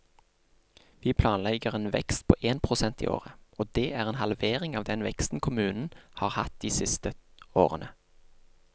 Vi planlegger en vekst på én prosent i året, og det er en halvering av den veksten kommunen har hatt de siste årene.